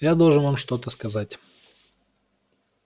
я должен вам что-то сказать